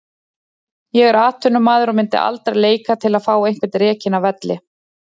Ég er atvinnumaður og myndi aldrei leika til að fá einhvern rekinn af velli.